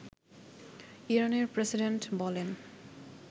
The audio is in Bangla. ইরানের প্রেসিডেন্ট বলেন